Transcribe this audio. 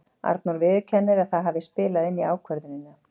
Arnór viðurkennir að það hafi spilað inn í ákvörðunina.